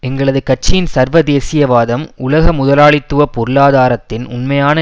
எங்களது கட்சியின் சர்வதேசியவாதம் உலக முதலாளித்துவ பொருளாதாரத்தின் உண்மையான